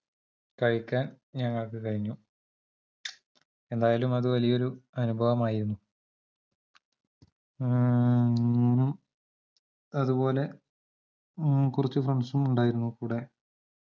കഴിക്കാൻ ഞങ്ങൾക്ക് കഴിഞ്ഞു എന്തായാലും അതുവലിയൊരു അനുഭവമായിരുന്നു മ്മ് ഉം ഹൂ അതുപോലെ കുറച്ച് friends ഉം ഉണ്ടായിരുന്നു കൂടെ